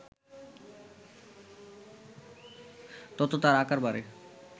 তত তার আকার বাড়ে